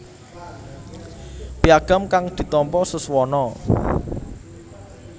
Piagam kang ditampa Suswono